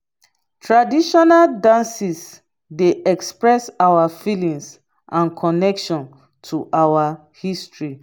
traditional dances dey express our feelings and connection to our history.